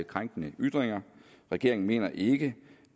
krænkende ytringer regeringen mener ikke